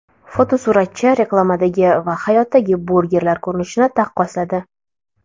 Fotosuratchi reklamadagi va hayotdagi burgerlar ko‘rinishini taqqosladi.